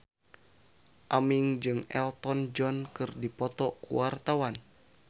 Aming jeung Elton John keur dipoto ku wartawan